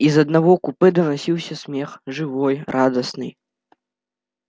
из одного купе доносился смех живой радостный